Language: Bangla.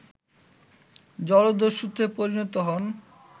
জলদস্যুতে পরিণত হন